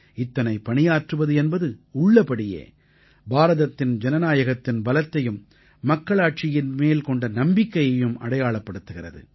இத்தனை பணியாற்றுவது என்பது உள்ளபடியே பாரதத்தின் ஜனநாயகத்தின் பலத்தையும் மக்களாட்சியின் மேல் கொண்ட நம்பிக்கையையும் அடையாளப்படுத்துகிறது